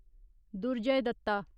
Durjoy Dutta